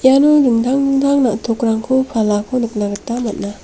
iano dingtang dingtang na·tokrangko palako nikna gita man·a.